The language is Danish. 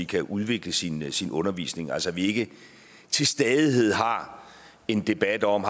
kan udvikle sin sin undervisning altså så vi ikke til stadighed har en debat om